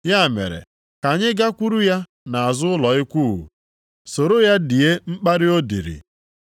Ya mere, ka anyị gakwuru ya nʼazụ ụlọ ikwu soro ya die mkparị o diri.